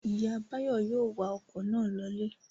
Ìyá Báyọ̀ yóò wa ọkọ̀ náà lọlé.